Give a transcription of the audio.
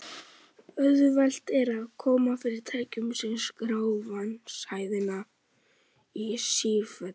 Auðvelt er að koma fyrir tækjum sem skrá vatnshæðina í sífellu.